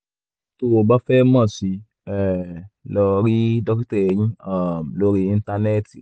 tó o bá fẹ́ mọ̀ sí um i lọ rí dókítà eyín um lórí íńtánẹ́ẹ̀tì